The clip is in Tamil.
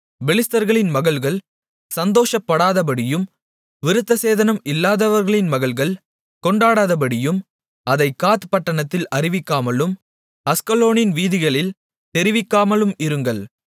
பெலிஸ்தர்களின் மகள்கள் சந்தோஷப்படாதபடியும் விருத்தசேதனம் இல்லாதவர்களின் மகள்கள் கொண்டாடாதபடியும் அதைக் காத் பட்டணத்தில் அறிவிக்காமலும் அஸ்கலோனின் வீதிகளில் தெரிவிக்காமலும் இருங்கள்